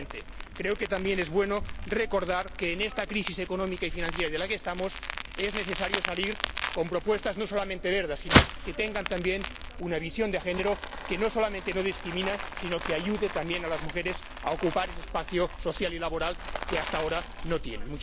Y, finalmente, creo que también es bueno recordar que de esta crisis económica y financiera en la que estamos es necesario salir con propuestas no solamente verdes, sino que tengan también una visión de género que no solamente no discrimine sino que ayude a las mujeres a ocupar ese espacio social y laboral que hasta ahora no tienen.